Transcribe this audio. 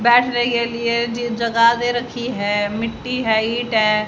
बैठने के लिए जीग जगह दे रखी है मिट्टी है ईट है।